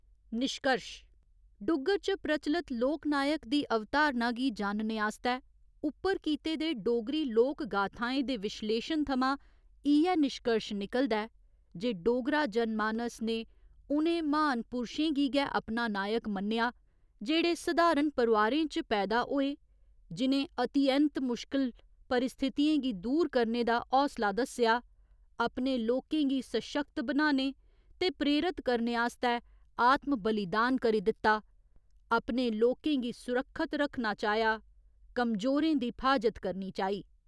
निश्कर्श डुग्गर च प्रचलत लोकनायक दी अवधारणा गी जानने आस्तै उप्पर कीते दे डोगरी लोकगाथाएं दे विश्लेशन थमां इ'यै निश्कर्श निकलदा ऐ जे डोगरा जनमानस ने उ'नें म्हान पुरशें गी गै अपना नायक मन्नेआ जेह्ड़े सधारण परोआरें च पैदा होए, जि'नें अति ऐंत मुश्कल परिस्थितियें गी दूर करने दा हौसला दस्सेआ, अपने लोकें गी सशक्त बनाने ते प्रेरत करने आस्तै आत्म बलिदान करी दित्ता, अपने लोकें गी सुरक्षत रक्खना चाहेआ, कमजोरें दी फ्हाजत करनी चाही।